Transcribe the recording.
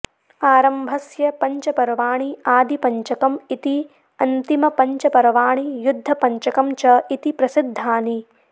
आरम्भस्य पञ्च पर्वाणि आदिपञ्चकम् इति अन्तिमपञ्चपर्वाणि युद्धपञ्चकं च इति प्रसिद्धानि